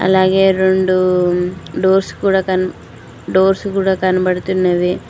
అలాగే రొండు డోర్స్ కూడా డోర్స్ కూడా కనబడుతున్నవి.